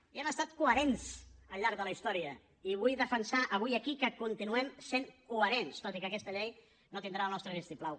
i hem estat coherents al llarg de la història i vull defensar avui aquí que continuem sent coherents tot i que aquesta llei no tindrà el nostre vistiplau